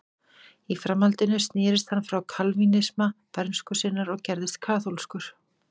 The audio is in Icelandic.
Í framhaldinu snerist hann frá kalvínisma bernsku sinnar og gerðist kaþólskur.